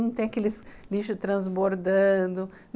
Não tem aqueles lixos transbordando...